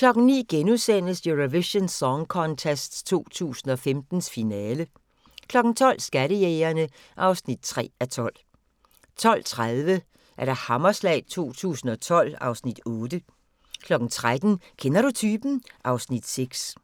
09:00: Eurovision Song Contest 2015, finale * 12:00: Skattejægerene (3:12) 12:30: Hammerslag 2012 (Afs. 8) 13:00: Kender du typen? (Afs. 6)